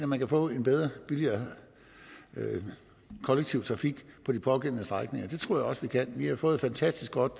man kan få en bedre og billigere kollektiv trafik på de pågældende strækninger det tror jeg også vi kan vi har fået et fantastisk godt